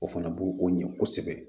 O fana bo o ɲɛ kosɛbɛ